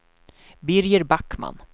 Birger Backman